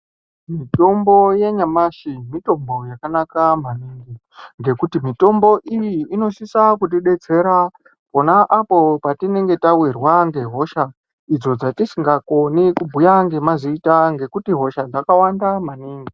Mitombo yenyamashi, mitombo yakanaka maningi, ngekuti mitombo iyi, inosisa kudededzera kona apo patinenge tawirwa ngehosha idzo dzatisingakoni kubuya ngemazita ngekuti hosha dzakawanda maningi.